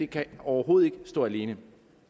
kan overhovedet ikke stå alene